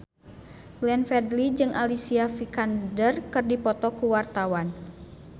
Glenn Fredly jeung Alicia Vikander keur dipoto ku wartawan